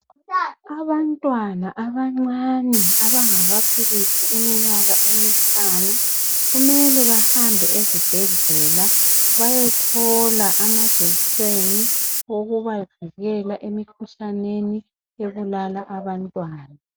Abantwana abancane abangakafikisi iminyaka emihlanu kumele bahambe ezibhedlela beyethola amajekiseni okubavikela emikhuhlaneni ebulala abantwana.